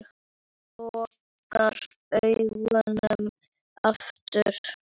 Lokar augunum aftur.